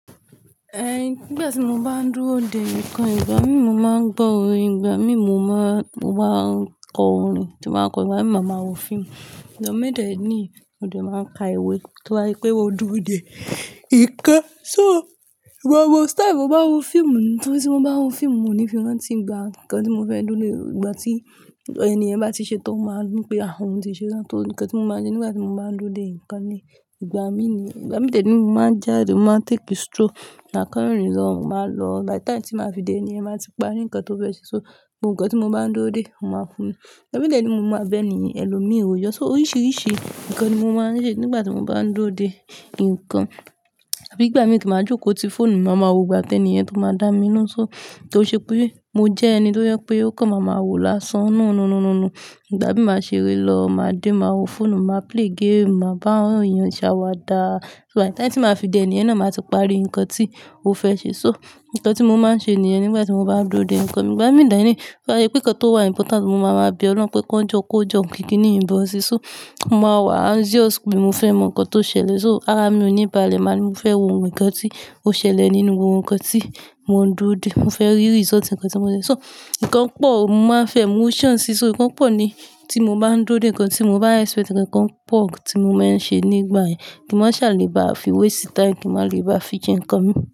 Eh, nígbà tí mo bá ń dúró dè nǹkan, ìgbà mí ì máa ń gbọ́ orin, ìgbà mí ì mo máa, mo máa kọ orin tí màá kọ, ìgbà mì ì máa máa wo fíìmù. Ìgbà míǹ dẹ̀ nìyíì mo dẹ̀ máa ka ìwé kí ó tó wá pé mo dúró dè ìkan. So, ìwo, ìwo style mo bá wo fíìmù, torí tí mo bá wo fíìmù, mo ní fíhán tí ń gba ǹkan tí mo fẹ́ dúró dè, ìgbà tí ènìyàn bá ti ṣe tán, o máa ní pé, ah, òun ti ṣe tán. Torí ǹkan tí mo máa ń ṣe nígbà tí mo bá ń dúró dè nǹkan ni, ìgbà mí ní, ìgbà min dẹ̀ nìyíì ni mo máa jáde, mo máa take stroll, máa kàn rìn lọ, máa lọ. By the time tí màá fi dé, ènìyàn máa ti parí ǹkan tó fẹ́ ṣe. So, ǹkan tí mo bá ń dúró dè, mo máa fún un. Ìgbà min dẹ̀ ẹni ni mo máa bẹ̀ ni ẹlòmíràn yọ. So, oríṣiríṣi ǹkan ni mo máa ń ṣe nígbà tí mo bá ń dúró dè nǹkan. Àbí ìgbà mí kí màá jókòó ti fóònù, mo máa wo gbà tí ènìyàn tó máa dá mi ná. So, kò ṣe pé mo jẹ́ ẹni tó yẹ pé ó kàn, màá máa wò lásán. Nú, nú, nú, nú, nú. Ìgbà min màá ṣe rí lọ, màá dé, màá wo fóònù, màá play game, màá bá àwọn èèyàn ṣàwàdà. So by the time tí màá fi dé, ènìyàn náà máa ti parí ǹkan tí ó fẹ́ ṣe. So, ǹkan tí mo máa ń ṣe ni ẹ̀ nígbà tí mo bá ń dúró dè nǹkan mi. Ìgbà min dẹ̀ni yin, bó á sé pé ǹkan tó wà important, mo máa máa bẹ Ọlọ́run pé kó jọ, kó jọ, kì kiníyìí bọ́ sí. So, mo máa wà anxious pé mo fẹ́ mọ ǹkan tó ṣẹlẹ̀. So, ara mi ò níba lẹ́ máa ní mo fẹ́ wo ǹkan tí ó ṣẹlẹ̀ nínú ohun ǹkan tí mò ń dúró dè. Mo fẹ́ rí result ǹkan tí mo ṣe. So, ǹkan pọ̀, mo máa ń fẹ́ emotions si So, ǹkan pọ̀ ni tí mo bá ń dúró dè ǹkan tí mo bá expect. Ǹkan pọ̀ tí mo máa ń ṣe nígbà yẹn kí n máa ṣàlẹ̀ bá fi waste time, kí n má lè bá fi jẹ ǹkan mi.